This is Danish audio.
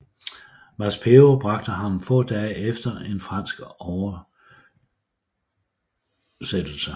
Maspero bragte ham få dage efter en fransk oversøttelse